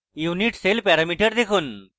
unit cell parameter দেখুন: